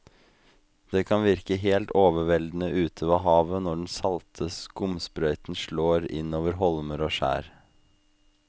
Det kan virke helt overveldende ute ved havet når den salte skumsprøyten slår innover holmer og skjær.